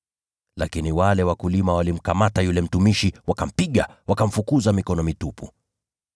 Lakini wale wakulima walimkamata yule mtumishi, wakampiga, wakamfukuza mikono mitupu.